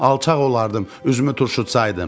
alçaq olardım, üzümü turşutsaydım.